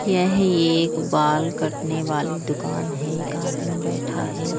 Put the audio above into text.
यह एक बाल कटने वाली दुकान है एक आदमी बैठा है ।